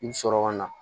I bi sɔrɔ ka na